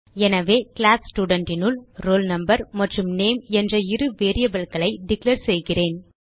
எனவே கிளாஸ் Studentனுள் roll number மற்றும் நேம் என்ற இரு variableகளை டிக்ளேர் செய்கிறேன்